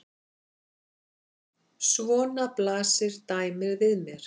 Svona blasir dæmið við mér.